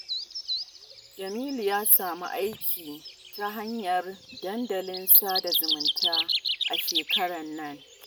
Jamilu ya samu aiki ta hanyar dandalin sada zumunta a shekarar nan